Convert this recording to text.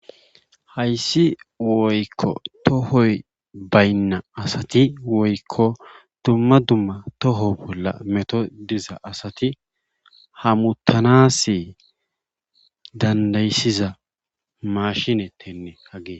Hayssi woykko tahoy baynna asati dumma dumma toho bolla metoy diza asati hamuttanaassi danddayisiza maashinettenne hagey.